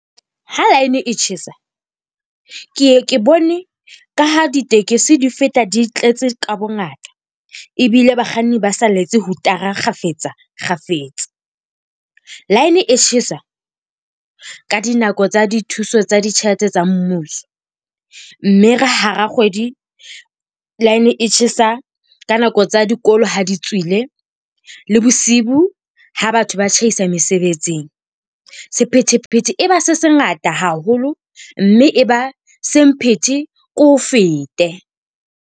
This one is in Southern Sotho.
Ha line e tjhesa, ke ye ke bone ka ha ditekesi di feta di tletse ka bongata. Ebile bakganni ba sa letse hutara kgafetsa kgafetsa. Line e tjhesa ka dinako tsa dithuso tsa ditjhelete tsa mmuso. Mme re hara kgwedi, line e tjhesa ka nako tsa dikolo ha di tswile, le bosiu ha batho ba tjhaisa mesebetsing. Sephethephethe e ba se se ngata haholo, mme e ba semphete ke o fete.